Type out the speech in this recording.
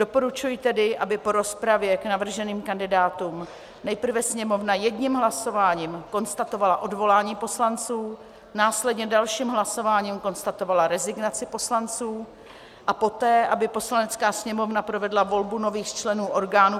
Doporučuji tedy, aby po rozpravě k navrženým kandidátům nejprve Sněmovna jedním hlasováním konstatovala odvolání poslanců, následně dalším hlasováním konstatovala rezignaci poslanců a poté aby Poslanecká sněmovna provedla volbu nových členů orgánů